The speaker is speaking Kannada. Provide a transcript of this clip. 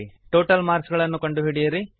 ಟೋಟಲ್ ಮಾರ್ಕ್ಸ್ ಗಳನ್ನು ಕಂಡುಹಿಡಿಯಿರಿ